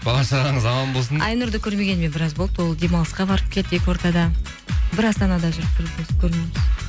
бала шағаңыз аман болсын айнұрды көрмегеніме біраз болды ол демалысқа барып келді екі ортада бір астанада жүріп